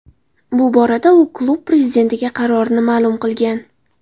Bu borada u klub prezidentiga qarorini ma’lum qilgan.